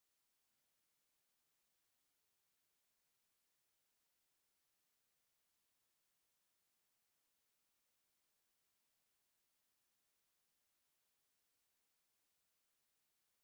እዚ ኡዞ ዝብሃል ናይ ኣረቂ ዓይነት እዩ፡፡ ኣረቂ ከም ህያብ ኮይኑ ናብ ጉዳያት ዝኸይድ እዩ፡፡ በዚ ምኽንያት ድማ ቀዋሚ ጠለብ ክህልዎ ክኢሉ ኣሎ፡፡